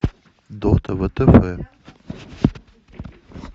дота втф